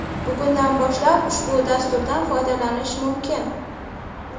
Bugundan boshlab ushbu dasturdan foydalanish mumkin.